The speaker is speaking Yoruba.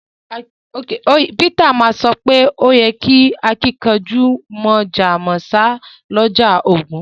Peteru ma so pe o yí kẹ́ àkìnkanjú mọ̀jọ̀ mọ̀sá lọ́jọ́ ogún